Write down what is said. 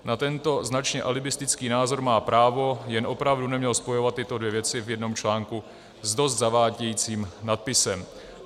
Na tento značně alibistický názor má právo, jen opravdu neměl spojovat tyto dvě věci v jednom článku s dost zavádějícím nadpisem.